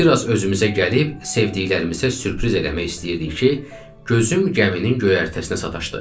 Bir az özümüzə gəlib sevdiklərimizə sürpriz eləmək istəyirdik ki, gözüm gəminin göyərtəsinə sataşdı.